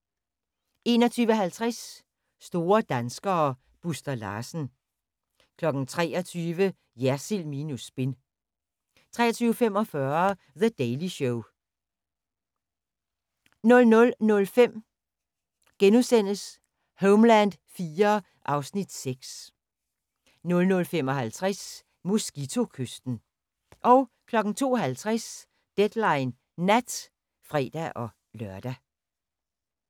21:50: Store danskere: Buster Larsen 23:00: Jersild minus spin * 23:45: The Daily Show 00:05: Homeland IV (Afs. 6)* 00:55: Mosquito-kysten 02:50: Deadline Nat (fre-lør)